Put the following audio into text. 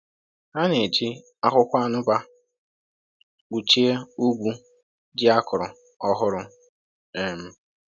“Ha na-eji akwụkwọ anụbà kpuchie ugwu ji a kụrụ ọhụrụ. um